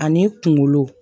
Ani kunkolo